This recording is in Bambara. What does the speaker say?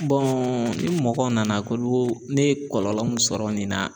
ni mɔgɔ nana k'olu o ne ye kɔlɔlɔ min sɔrɔ nin na